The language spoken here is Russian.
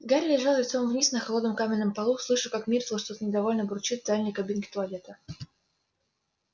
гарри лежал лицом вниз на холодном каменном полу слыша как миртл что-то недовольно бурчит в дальней кабинке туалета